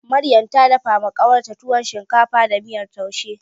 Maryam ta dafawa ƙawarta tuwo shinkafa da miyar taushe.